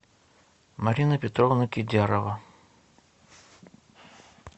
марина петровна кидярова